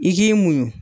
I k'i munɲu